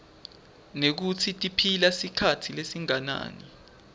nekutsi tiphila sikhatsi lesinganani